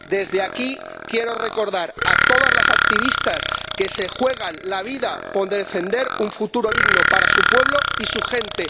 Desde aquí quiero recordar a todas las activistas que se juegan la vida por defender un futuro digno para su pueblo y su gente.